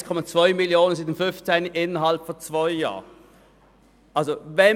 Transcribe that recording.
Innerhalb von zwei Jahren hat der Fondsbestand seit 2015 um 1,2 Mio. Franken zugenommen.